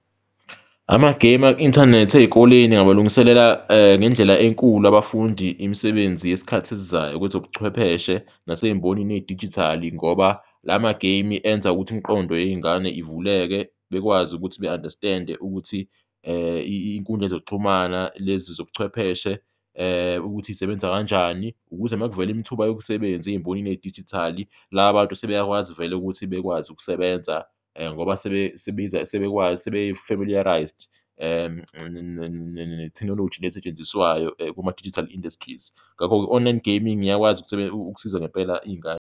Ama-game aku-inthanethi ey'koleni abalungiselela ngendlela enkulu abafundi imisebenzi yesikhathi esizayo kwezobuchwepheshe nasembonini yedijithali ngoba la ma-game-i enza ukuthi imiqondo yey'ngane ivuleke, bekwazi ukuthi be-understand-e ukuthi inkundla zokuxhumana lezi zobuchwepheshe ukuthi zisebenza kanjani, ukuze ma kuvela imithuba yomsebenzi embonini yedijithali, laba bantu sebeyakwazi vele ukuthi bekwazi ukusebenza ngoba sebe-familiarised netheknoloji le esetshenziswayo kuma-digital industries, ngakho-ke i-online gaming iyakwazi ukusiza ngempela iy'ngane.